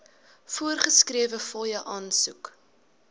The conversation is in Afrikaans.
voorgeskrewe fooie aansoek